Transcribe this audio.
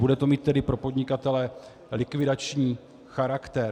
Bude to mít tedy pro podnikatele likvidační charakter.